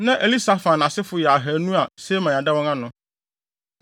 Na Elisafan asefo yɛ ahannu (200) a Semaia da wɔn ano.